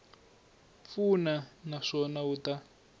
pfuna na swona wu ta